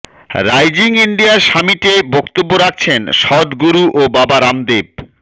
rising India সামিটে বক্তব্য রাখছেন সদগুরু ও বাবা রামদেব